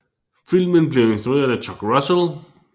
Filmen blev instrueret af Chuck Russell